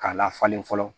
K'a lafalen fɔlɔ